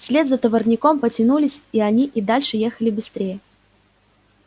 вслед за товарняком потянулись и они и дальше ехали быстрее